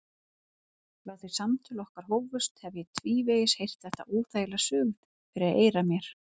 Frá því samtöl okkar hófust hef ég tvívegis heyrt þetta óþægilega suð fyrir eyrum mér.